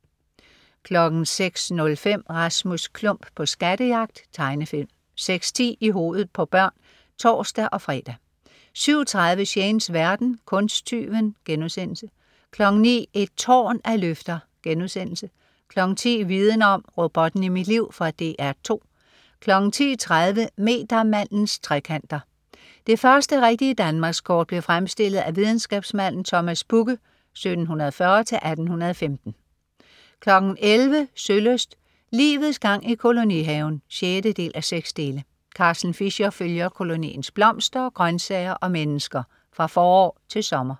06.05 Rasmus Klump på skattejagt. Tegnefilm 06.10 I hovedet på børn (tors-fre) 07.30 Shanes verden. Kunsttyven* 09.00 Et tårn af løfter* 10.00 Viden Om: Robotten i mit liv. Fra DR 2 10.30 Metermandens trekanter. Det første rigtige Danmarkskort blev fremstillet af videnskabsmanden Thomas Bugge (1740-1815) 11.00 Sølyst: Livets gang i kolonihaven 6:6. Carsten Fischer følger koloniens blomster, grøntsager og mennesker fra forår til sommer